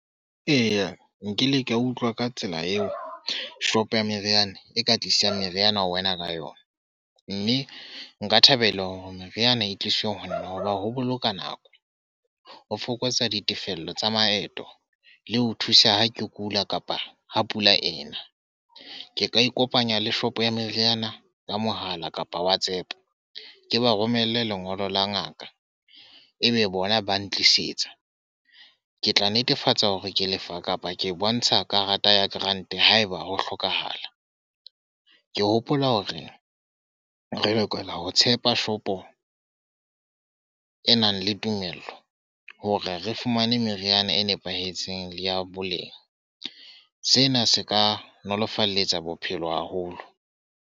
Eya, nkile ka utlwa ka tsela eo shop ya meriana e ka tlisang meriana wena ka yona. Mme nka thabela hore meriana e tliswe ho nna. Ho boloka nako. Ho fokotsa ditefello tsa maeto, le ho thusa ha ke kula kapa ha pula ena. Ke ka ikopanya le shopo ya meriana ka mohala, kapa WhatsApp. Ke ba romelle lengolo la ngaka, e be bona ba ntlisetsa. Ke tla netefatsa hore ke lefa kapa ke bontsha karata ya grant haeba ho hlokahala. Ke hopola hore, re lokela ho tshepa shopo e nang le tumello. Hore re fumane meriana e nepahetseng le ya boleng. Sena se ka nolofalletsa bophelo haholo.